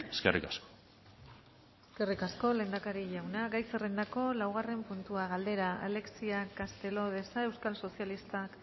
eskerrik asko eskerrik asko lehendakari jauna gai zerrendako laugarren puntua galdera alexia castelo de sa euskal sozialistak